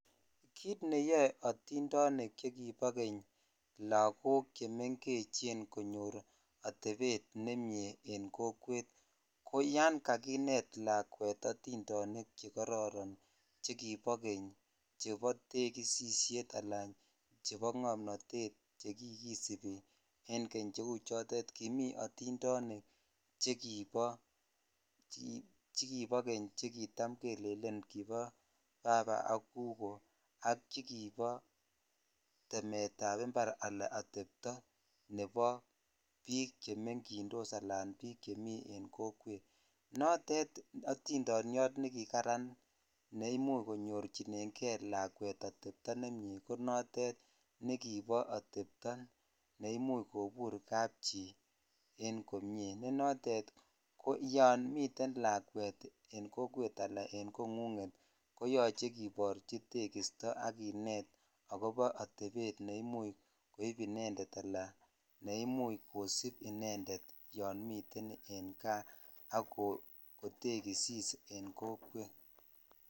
Kit neyoe atindonik chekibo keny lakkok konyor atepet nemie en kojwet ko yan kakinet nakwet atindonik che kororon chekobo keny chebo tekisishet ala chebo ngomnotet che kikisibi en Keny cheu chodonkimi atidonik che kibo keny che kitam jelelen bo gugoo ak baba ak chekibo temet ab impar ala atepto nebo bik chemegitis alachemi en kokwet note otindonyon nekikaran ne imuch konyorchinen lakwet atepto nemie ko noton ko noton nekibo ormtepto ne kimuch kotem kanchi komie yon miten lakwet en kongunget ala en kokwet koyoche kiborchi tekisto ak kinet akobo otebet ne imuch koib inended ala kosip inended yon miten ek kaa ak kotekisis en kokwet.